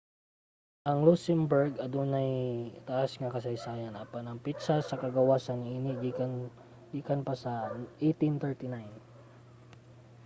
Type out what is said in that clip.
ang luxembourg adunay taas nga kasaysayan apan ang petsa sa kagawasan niini gikan pa 1839